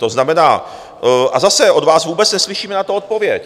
To znamená, a zase od vás vůbec neslyšíme na to odpověď.